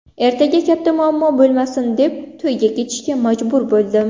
Ertaga katta muammo bo‘lmasin deb, to‘yga ketishga majbur bo‘ldim.